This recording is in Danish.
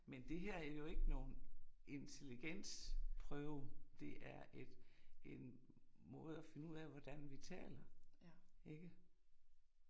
Men det er jo ikke nogen intelligensprøve det er et en måde og finde ud af, hvordan vi taler, ikke